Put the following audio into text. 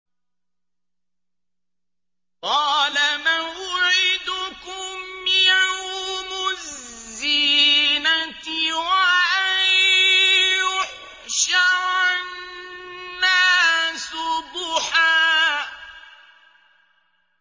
قَالَ مَوْعِدُكُمْ يَوْمُ الزِّينَةِ وَأَن يُحْشَرَ النَّاسُ ضُحًى